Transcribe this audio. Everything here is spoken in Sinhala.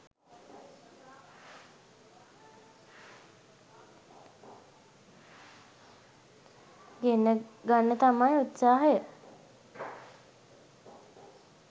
ගෙන්න ගන්න තමයි උත්සාහය